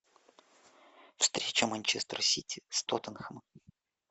встреча манчестер сити с тоттенхэмом